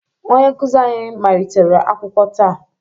Onye nkuzi anyị malitere akwụkwọ taa